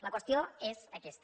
la qüestió és aquesta